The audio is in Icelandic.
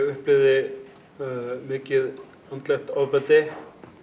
upplifði mikið andlegt ofbeldi